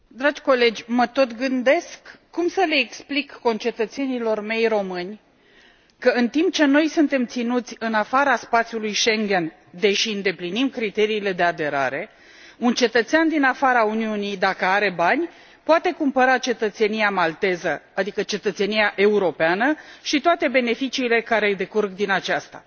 Dragi colegi, mă tot gândesc cum să le explic concetățenilor mei români că, în timp ce noi suntem ținuți în afara spațiului Schengen, deși îndeplinim criteriile de aderare, un cetățean din afara Uniunii, dacă are bani, poate cumpăra cetățenia malteză, adică cetățenia europeană și toate beneficiile care decurg din aceasta.